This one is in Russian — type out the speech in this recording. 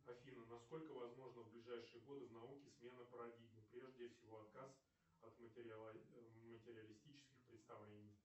афина на сколько возможна в ближайшие годы в науке смена парадигмы прежде всего отказ от материалистических представлений